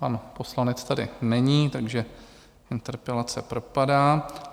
Pan poslanec tady není, takže interpelace propadá.